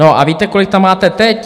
No a víte, kolik tam máte teď?